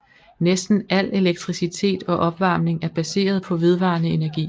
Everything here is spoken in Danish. Næsten al elektricitet og opvarmning er baseret på vedvarende energi